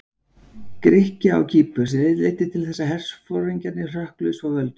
Grikkja á Kýpur, sem leiddi til þess að herforingjarnir hrökkluðust frá völdum.